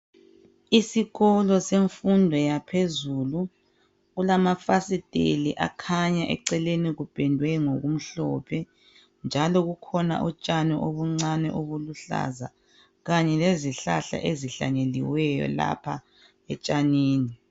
Isikolo semfundo yaphezulu kulamafasiteli akhanya eceleni kupendwe ngokumhlophe njalo kukhona utshani obuncane obuluhlaza kanye lezihlahla ezihlanyeliweyo lapha etshanini.